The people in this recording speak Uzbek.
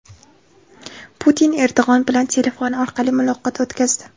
Putin Erdo‘g‘on bilan telefon orqali muloqot o‘tkazdi.